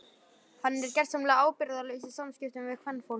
Hann er gersamlega ábyrgðarlaus í samskiptum við kvenfólk.